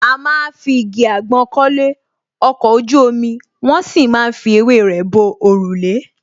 A má ń fi igi àgbọn kọ́lé, ọkọ̀ ojú omi, wón sì má ń fi ewé rẹ bo òrùlé